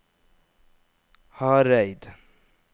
Hareid